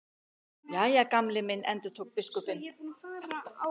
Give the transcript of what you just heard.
Jæja, Gamli minn endurtók biskupinn.